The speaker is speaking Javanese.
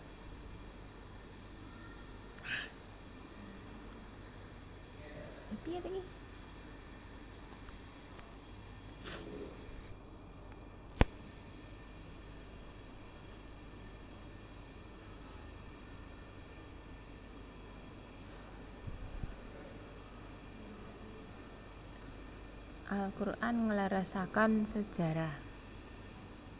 Al Quran ngleresaken sejarah